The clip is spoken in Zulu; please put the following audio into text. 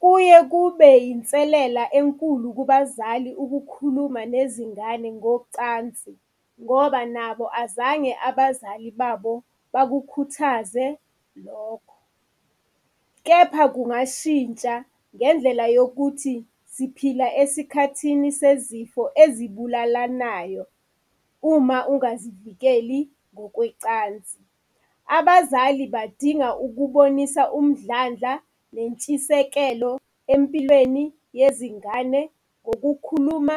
Kuye kube yinselela enkulu kubazali ukukhuluma nezingane ngocansi, ngoba nabo azange abazali babo bakukhuthaze lokho. Kepha kungashintsha ngendlela yokuthi siphila esikhathini sezifo ezibulalanayo uma ungazivikeli ngokwecansi. Abazali badinga ukubonisa umdlandla nentshisekelo empilweni yezingane, ngokukhuluma